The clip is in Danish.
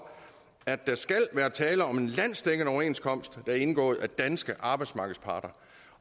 om at der skal være tale om en landsdækkende overenskomst der er indgået af danske arbejdsmarkedsparter